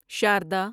Sharda